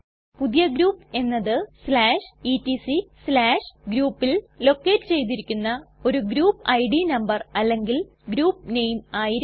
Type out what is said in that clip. പുതിയ ഗ്രൂപ്പ് എന്നത് etcgroupൽ ലൊക്കേറ്റ് ചെയ്തിരിക്കുന്ന ഒരു ഗ്രൂപ്പ് ഇഡ് നംബർ അല്ലെങ്കിൽ ഗ്രൂപ്പ് നെയിം ആയിരിക്കും